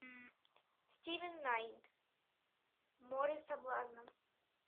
стивен найт море соблазна